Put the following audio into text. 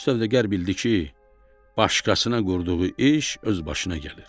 Sövdəgər bildi ki, başqasına qurduğu iş öz başına gəlir.